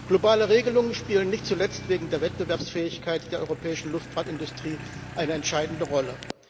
Globale Regelungen spielen nicht zuletzt wegen der Wettbewerbsfähigkeit der europäischen Luftfahrtindustrie eine entscheidende Rolle.